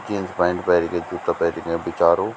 Jeans pant पैरिकी जुत्ता पैरिखे बिचारो।